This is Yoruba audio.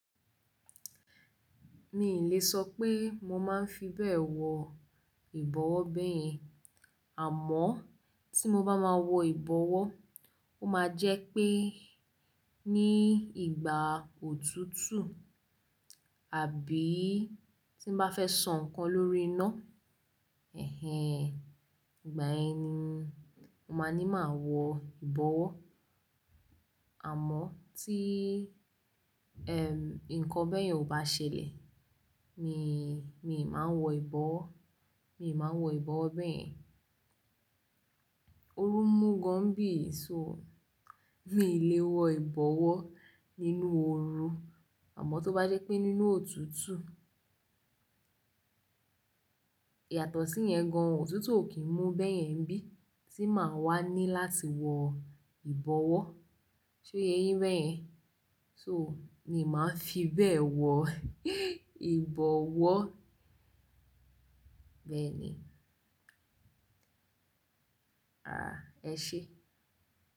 Mi ò lè sọ pé mo máa ń fi bẹ́ẹ̀ wọ ìbọ̀wọ́ beyen. Àmọ́ tí mo bá máa wọ ìbọ̀wọ́, ó máa jẹ́ pé ní ìgbà òtútù àbí tí n bá fẹ́ sọ nkan lórí iná, ẹhen, ìgbà yẹn ni mo máa ní máa wọ ìbọ̀wọ́. Àmọ́ tí, ẹm, nkan bẹ́yẹn ò bá ṣẹlẹ̀, mi, mi ì máa n wọ ìbọ̀wọ́, mi ì máa n wọ ìbọ̀wọ́ bẹ́ẹ̀. Oru n mú gan nibí yii ṣo, mi ò lè wọ ìbọ̀wọ́ nínú oru. Àmọ́ tó bá jẹ́ pé nínú òtútù, yàtọ̀ sí yẹn gan-an, òtútù ò kí ń mú bẹ́yẹn nibí i tí màá wá ní láti wọ ìbọ̀wọ́. Ṣe o ye yín bẹ́yẹn? So, mi máa ń fi bẹ́ẹ̀ wọ ìbọ̀wọ́. Bẹ̀eni. Àá, ẹ ṣé.